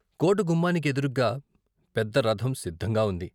కోట గుమ్మానికి ఎదురుగ్గా పెద్ద రథం సిద్ధంగా వుంది.